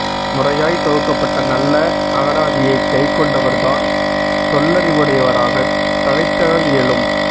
முறையாய்த் தொகுக்கப்பட்ட நல்ல அகராதியைக் கைக்கொண்டவர்தான் சொல்லறிவுடையவராகத் தழைத்தெழல் இயலும்